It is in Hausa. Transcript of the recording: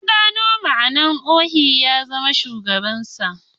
Na gano ma'anar Ohi ya zama Shugaban kasa